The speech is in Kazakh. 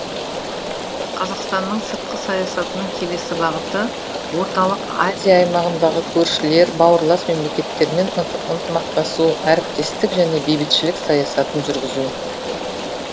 қазақстанның сыртқы саясатының келесі бағыты орталық азия аймағындағы көршілер бауырлас мемлекеттермен ынтымақтасу әріптестік және бейбітшілік саясатын жүргізу